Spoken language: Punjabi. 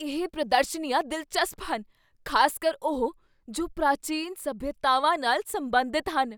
ਇਹ ਪ੍ਰਦਰਸ਼ਨੀਆਂ ਦਿਲਚਸਪ ਹਨ, ਖ਼ਾਸਕਰ ਉਹ ਜੋ ਪ੍ਰਾਚੀਨ ਸਭਿਅਤਾਵਾਂ ਨਾਲ ਸਬੰਧਤ ਹਨ।